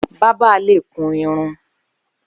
Bàbà lé kún irún